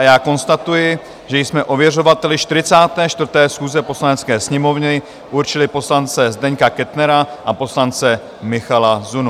A já konstatuji, že jsme ověřovateli 44. schůze Poslanecké sněmovny určili poslance Zdeňka Kettnera a poslance Michala Zunu.